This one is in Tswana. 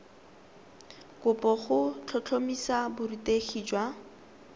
kopo go tlhotlhomisa borutegi jwa